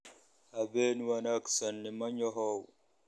Habeen wanaagsan nimanyahow?